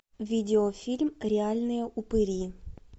видеофильм реальные упыри